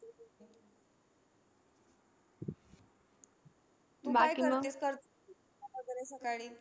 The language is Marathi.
तू काय करतेस तर सकाळी?